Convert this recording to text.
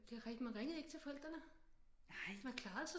Det er rigtigt man ringede ikke til forældrene man klarede sig